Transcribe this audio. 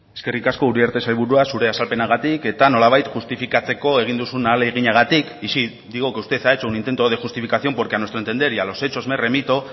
eskerrik asko uriarte sailburua zure azalpenagatik eta nolabait justifikatzeko egin duzun ahaleginagatik y sí digo que usted ha hecho un intento de justificación porque a nuestro entender y a los hechos me remito